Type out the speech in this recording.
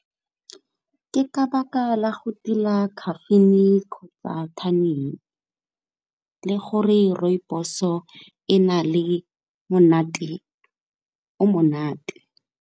Ke ka baka la go tila caffeine kgotsa le gore rooibos-o e na le monate o monate.